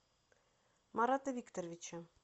марата викторовича